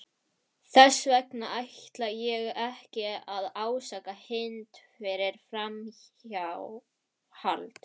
Þess vegna ætla ég ekki að ásaka Hind fyrir framhjáhald.